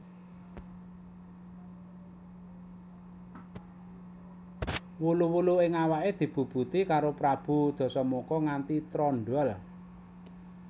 Wulu wulu ing awake dibubuti karo Prabu Dasamuka nganti trondhol